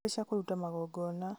nĩkũrĩ cia kũrũta magongona